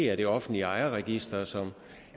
er det offentlige ejerregister som